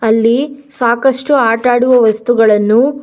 ಅಲ್ಲಿ ಸಾಕಷ್ಟು ಆಟ ಆಡುವ ವಸ್ತುಗಳನ್ನು--